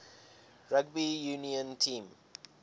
rugby union team